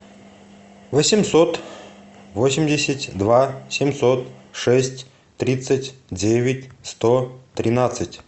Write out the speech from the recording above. восемьсот восемьдесят два семьсот шесть тридцать девять сто тринадцать